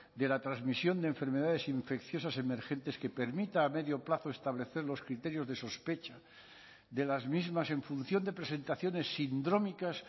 de la transmisión de enfermedades infecciosas emergentes que permita a medio plazo establecer los criterios de sospecha de las mismas en función de presentaciones sindrómicas